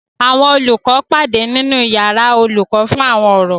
Àwọn olùkọ́ pàdé nínu yàrá olùkọ́ fún àwọn ọ̀rọ̀